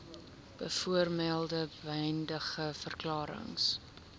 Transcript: bovermelde beëdigde verklarings